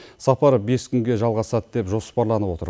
сапар бес күнге жалғасады деп жоспарланып отыр